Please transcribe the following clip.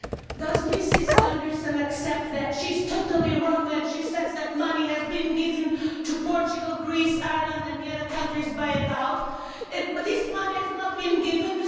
Mr President, does Mrs Andreasen accept that she is totally wrong when she says that money has been given to Portugal, Greece, Ireland and the other countries bailed out. This money has not been given